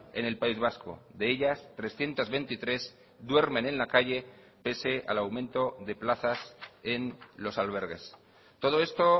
en el país vasco de ellas trescientos veintitrés duermen en la calle pese al aumento de plazas en los albergues todo esto